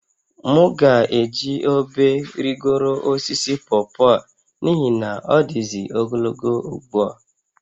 M ga-eji obe rịgoro osisi pọpọ a n'ihi na ọ dịzị ogologo ugbu a